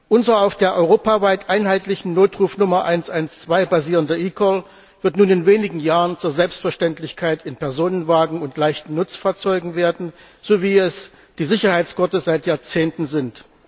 Unser auf der europaweit einheitlichen Notrufnummer 112 basierender eCall wird nun in wenigen Jahren zur Selbstverständlichkeit in Personenwagen und leichten Nutzfahrzeugen werden, so wie es die Sicherheitsgurte seit Jahrzehnten sind.